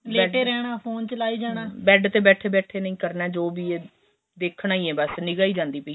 bed ਦੇ ਬੈਠੇ ਬੈਠੇ ਕਰਨਾ ਜੋ ਵੀ ਏਹ ਦੇਖਣਾ ਹੀ ਏ ਨਿਗਾਂ ਹੀ ਜਾਂਦੀ ਪਈ ਏ